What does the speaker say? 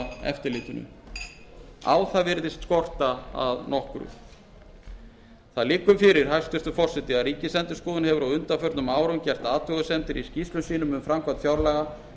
eða eftirlitinu á það virðist skorta að nokkru það liggur fyrir hæstvirtur forseti að ríkisendurskoðun hefur á undanförnum árum gert athugasemdir í skýrslum sínum um framkvæmd fjárlaga